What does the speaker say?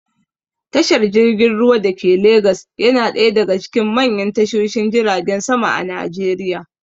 Tashar jirgin ruwa dake legas yana ɗaya daga cikin manyan tashoshin jiragen sama a najeriya